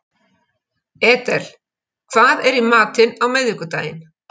Edel, hvað er í matinn á miðvikudaginn?